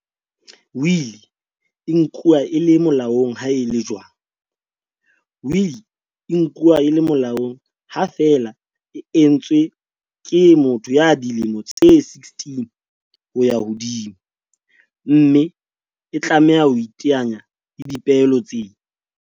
Wili e nkuwa e le mo laong ha e le jwang? Wili e nkuwa e le molaong ha feela e entswe ke motho ya dilemo tse 16 ho ya hodimo, mme e tlameha ho iteanya le dipehelo tse